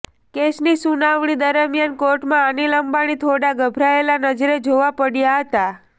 કેસની સુનાવણી દરમિયાન કોર્ટમાં અનીલ અંબાણી થોડા ગભરાયેલા નજરે જોવા પડ્યા હતા